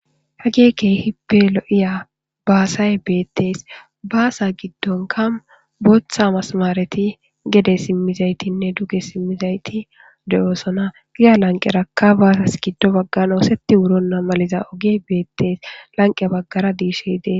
Hagey keehippe lo'iya baasay beetees. Baasa gidonka bootha mesimereti gede simmidaytinne duge simmidayti de'osona. Ya bagga lanqeraka baasas giddo bagagn ootheti wuronna maliza ogeyka beetees. Lanqe baggara deyshay de'ees.